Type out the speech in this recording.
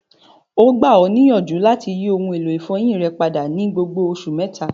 O gba ọ niyanju lati yi oun elo ifọyin rẹ pada ni gbogbo oṣu mẹta.